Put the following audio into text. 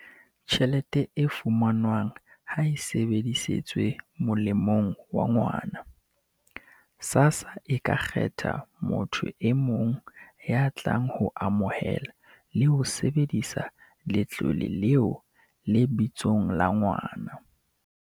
"tjhelete e fumanwang ha e sebedisetswe molemong wa ngwana, SASSA e ka kgetha motho e mong ya tlang ho amohela le ho sebedisa letlole leo lebitsong la ngwana."